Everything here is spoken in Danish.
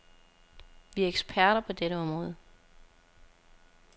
Vi er eksperter på dette område.